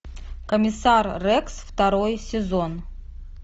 комиссар рекс второй сезон